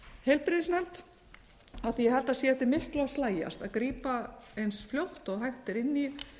heilbrigðisnefnd af því ég held að sé eftir miklu að slægjast að grípa eins fljótt og hægt er inn í